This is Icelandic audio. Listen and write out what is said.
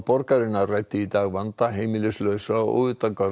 borgarinnar ræddi í dag vanda heimilislausra og